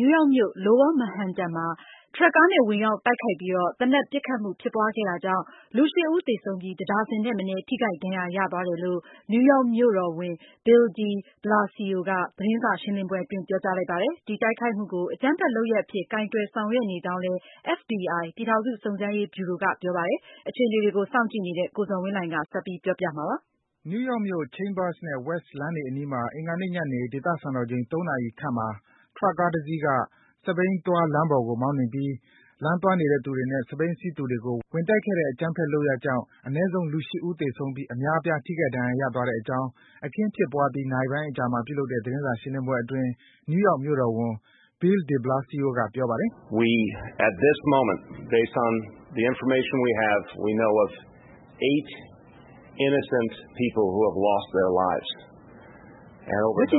ယူးယောက်မြို့ရဲ့ Lower Manhattan ရပ်ကွက်မှာ အင်္ဂါနေ့က ထရပ်ကားနဲ့ ဝင်ရောက် တိုက်ခိုက်မှု ဖြစ်ပွါးခဲ့တာကြောင့် လူ ၈ ဦး သေဆုံးပြီး တဒါဇင်ထက်မနည်း ထိခိုက် ဒဏ်ရာရသွားတယ်လို့ နယူးယောက် မြို့တော်ဝန် Bill de Blasio က သတင်းစာ ရှင်းလင်းပွဲအတွင်း ပြောကြားပါတယ်။ ဒီတိုက်ခိုက်မှုကို အကြမ်းဖက် လုပ်ရပ်အဖြစ် ကိုင်တွယ် ဆောင်ရွက်နေကြောင်းလည်း FBI ပြည်ထောင်စု စုံစမ်းရေးဗျူရိုက ပြောပါတယ်။ အပြည့်အစုံကိုတော့ ကိုဇော်ဝင်းလှိုင်က တင်ပြပေးပါမယ်။ နယူူးယောက်မြို့ Chambers နဲ့ West လမ်းတွေ အနီးမှာ အင်္ဂါနေ့ညနေ ဒေသစံတော်ချိန် ၃ နာရီခန့်မှာ ထရပ်ကားတစီးက စက်ဘီးသွား လမ်းပေါ်ကို မောင်းနှင်ပြီး လမ်းသွားနေသူတွေနဲ့ စက်ဘီးစီးသူတွေကို ဝင်တိုက်ခဲ့တဲ့ အကြမ်းဖက် လုပ်ရပ်ကြောင့် အနည်းဆုံး လူ ၈ ဦး သေဆုံးပြီး အများအပြား ထိခိုက် ဒဏ်ရာ ရသွားတဲ့အကြောင်း အခင်းဖြစ်ပွားပြီး နာရီပိုင်း အကြာမှာ ပြုလုပ်တဲ့ သတင်းစာရှင်းလင်းပွဲအတွင်း နယူးယောက် မြို့တော်ဝန် Bill de Blasio က ပြောပါတယ်။ “လက်ရှိအခ